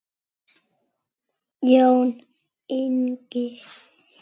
Jón Ingi.